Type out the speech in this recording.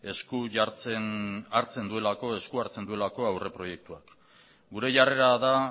esku hartzen duelako aurreproiektuak gure jarrera da